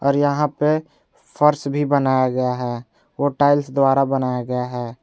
और यहां पे फर्श भी बनाया गया है वो टाइल्स द्वारा बनाया गया है।